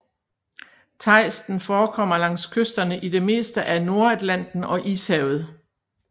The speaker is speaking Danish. Tejsten forekommer langs kysterne i det meste af Nordatlanten og Ishavet